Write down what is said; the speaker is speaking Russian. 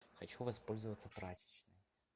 хочу воспользоваться прачечной